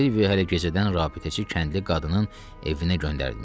Silvio hələ gecədən rabitəçi kəndli qadının evinə göndərilmişdi.